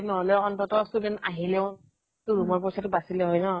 নহʼলেও আনন্তঃ student আহিলেও তো room ৰ পইচা তো বাছিলে হয় ন ?